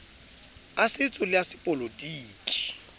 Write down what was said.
a setso le a sepolotiki